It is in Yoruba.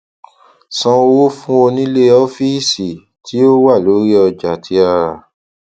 san owó fún onílé ọfíìsì tí ó wà lórí ọjà tí a rà